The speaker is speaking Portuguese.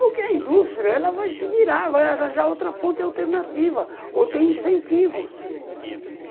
Porque a indústria vai se virar, vai arranjar outra fonte alternativa, ou tem incentivos.